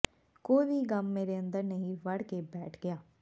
ਕੋਈ ਵੀ ਗਮ ਮੇਰੇ ਅੰਦਰ ਨਹੀ ਵੜ ਕੇ ਬੈਠ ਗਿਆ